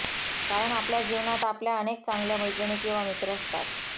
कारण आपल्या जीवनात आपल्या अनेक चांगल्या मैत्रिणी किंवा मित्र असतात